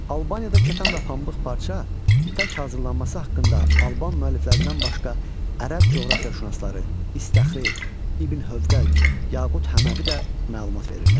Albaniyada kətan və pambıq parça, ipək hazırlanması haqqında Alban müəlliflərindən başqa Ərəb coğrafiyaşünasları İstağri, İbn Hövqəl, Yaqut Həməvi də məlumat verirlər.